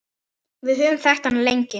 Við höfum þekkt hann lengi.